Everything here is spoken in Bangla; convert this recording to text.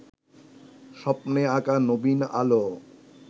স্বপ্নে আঁকা নবীন আলো